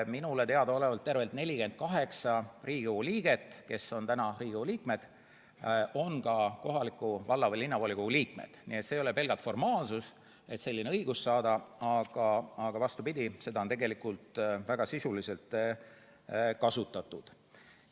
Minule teadaolevalt on tervelt 48 Riigikogu liiget ka kohaliku valla- või linnavolikogu liikmed, nii et see ei ole pelgalt formaalsus, vaid vastupidi, seda on tegelikult väga sisuliselt kasutatud.